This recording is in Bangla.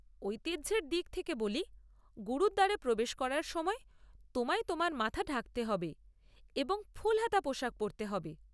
ঐতিহ্যর দিক থেকে বলি, গুরুদ্বারে প্রবেশ করার সময় তোমায় তোমার মাথা ঢাকতে হবে এবং ফুলহাতা পোশাক পরতে হবে।